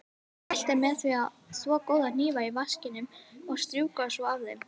Mælt er með því að þvo góða hnífa í vaskinum og strjúka svo af þeim.